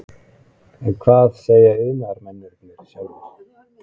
En hvað segja iðnaðarmennirnir sjálfir?